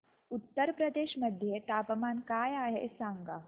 उत्तर प्रदेश मध्ये तापमान काय आहे सांगा